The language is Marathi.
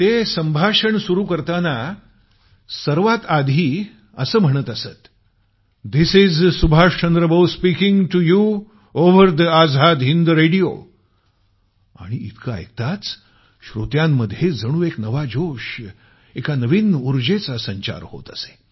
ते संभाषण सुरु करताना सर्वात आधी असे म्हणत असतधिस is Subhash Chandra Bose speaking to you over the Azad Hind radio आणि इतक ऐकताच श्रोत्यांमध्ये जणू एक नवा जोश एका नवीन उर्जेचा संचार होत असे